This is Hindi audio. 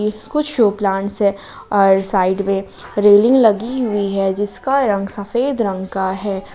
कुछ शो प्लांट्स है और साइड में रेलिंग लगी हुई है जिसका रंग सफेद रंग का है।